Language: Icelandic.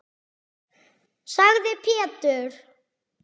sagði Pétur.